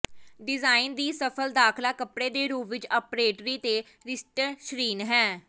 design ਦੀ ਸਫ਼ਲ ਦਾਖਲਾ ਕੱਪੜੇ ਦੇ ਰੂਪ ਵਿੱਚ ਅਪਰੇਟਰੀ ਤੇ ਰੀਸਟਰੀਸ਼ਨ ਹੈ